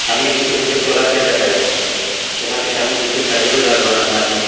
সামনে কিছু লোকের চলাফেরা দেখা যাচ্ছে দোকানটির সামনে কিছু সাইকেলও দাঁড় করানো আছে।